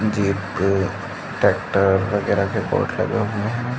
Jeep tractor वगेरा के board लगे हुए हैं।